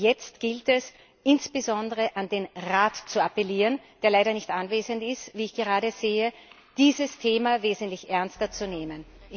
Jetzt gilt es, insbesondere an den Rat zu appellieren der leider nicht anwesend ist, wie ich gerade sehe dieses Thema wesentlich ernster zu nehmen!